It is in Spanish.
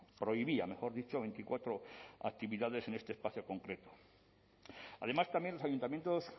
prohibía mejor dicho veinticuatro actividades en este espacio concreto además también los ayuntamientos